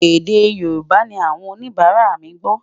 èdè yorùbà ní àwọn oníbara mí gbó